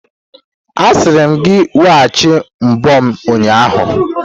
Asịrim gị weghachi mbo m ụnyahụ!